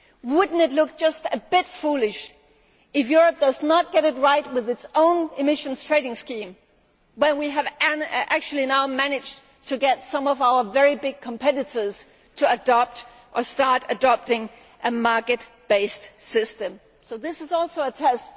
scheme. Would it not look just a bit foolish if Europe did not get it right with its own emissions trading scheme when we have actually now managed to get some of our very big competitors to adopt or start adopting a market based system? So this is also